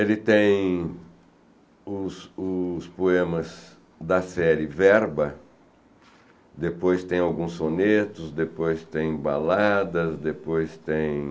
Ele tem os os poemas da série Verba, depois tem alguns sonetos, depois tem baladas, depois tem...